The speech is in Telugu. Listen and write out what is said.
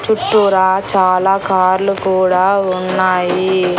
చుట్టూరా చాలా కార్లు కూడా ఉన్నాయి.